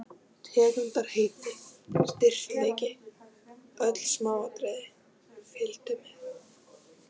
Tegundarheiti, styrkleiki, öll smáatriði fylgdu með.